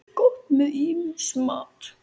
Gott með ýmsum mat.